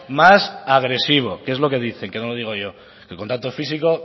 más agresivos que es lo que dicen que no lo digo yo el contacto físico